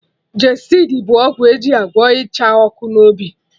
Gestid bụ ọgwụ eji agwọ Ịcha ọkụ n'obi